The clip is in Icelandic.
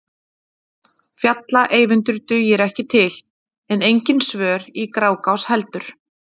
Fjalla-Eyvindur dugir ekki til, en engin svör í Grágás heldur.